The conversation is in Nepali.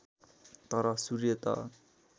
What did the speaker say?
तर सूर्य त